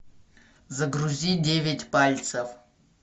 загрузи девять пальцев